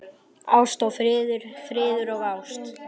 Ást og friður, friður og ást.